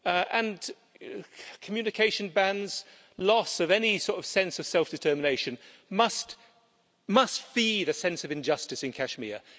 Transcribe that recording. And communication bans, loss of any sort of sense of self-determination must feed a sense of injustice in Kashmir.